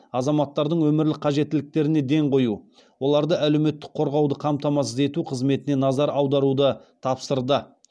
азаматтардың өмірлік қажеттіліктеріне ден қою оларды әлеуметтік қорғауды қамтамасыз ету қызметіне назар аударуды тапсырды